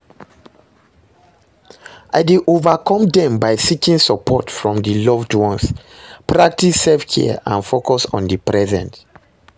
I dey overcome dem by seeking support from di loved ones, practice self-care and focus on di present.